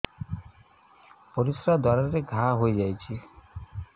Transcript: ପରିଶ୍ରା ଦ୍ୱାର ରେ ଘା ହେଇଯାଇଛି